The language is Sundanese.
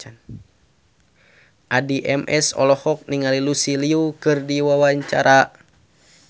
Addie MS olohok ningali Lucy Liu keur diwawancara